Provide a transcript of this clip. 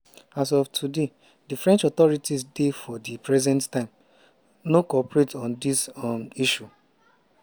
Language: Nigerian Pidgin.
"as of today di french authorities dey for di present time no cooperate on dis um issue.